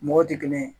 Mɔgɔw tɛ kelen ye